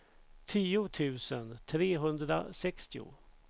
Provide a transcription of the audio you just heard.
tio tusen trehundrasextio